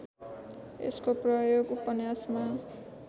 यसको प्रयोग उपन्यासमा